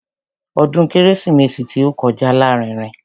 Ọdún kérésìmesì tí ó kọjá lárinrin.